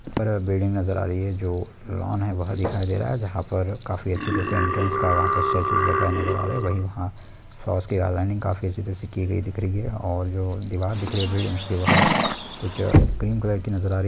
नजर आ रही है जो लॉन है वो दिखाई दे रहा है जहाँ पर खाफी अच्छे से इंटेरन्स का स्टेचू रखा नजर आ रहा है। वही वहां काफी अच्छे से की गयी दिख रही है और दीवार दिख रही है। उसके वहां कुछ क्रीम कलर की नजर आ रही--